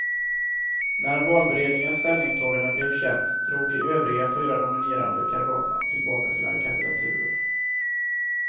När valberedningens ställningstagande blev känt drog de övriga fyra nominerade kandidaterna tillbaka sina kandidaturer.